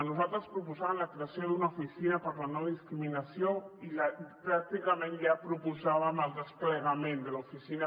nosaltres proposàvem la creació d’una oficina per a la no discriminació i pràcticament ja proposàvem el desplegament de l’oficina